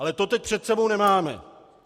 Ale to teď před sebou nemáme.